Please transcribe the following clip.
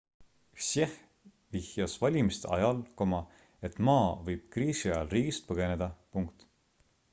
hsieh vihjas valimiste ajal et ma võib kriisi ajal riigist põgeneda